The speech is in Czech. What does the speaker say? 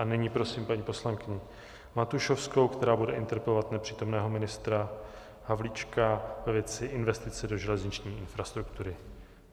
A nyní prosím paní poslankyni Matušovskou, která bude interpelovat nepřítomného ministra Havlíčka ve věci investice do železniční infrastruktury.